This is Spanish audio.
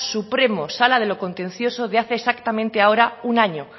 supremo sala de lo contencioso de hace exactamente ahora un año